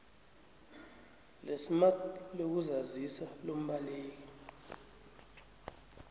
lesmart lokuzazisa lombaleki